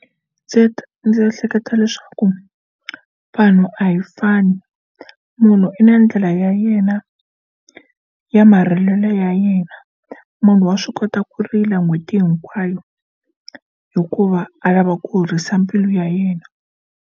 Ndzi ta ndzi hleketa leswaku vanhu a hi fani munhu i na ndlela ya yena ya marimelo ya yena munhu wa swi kota ku rila n'hweti hinkwayo hikuva a lava ku horisa mbilu ya yena.